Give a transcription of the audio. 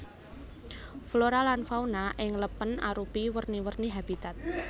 Flora lan fauna ing lèpèn arupi werni werni habitat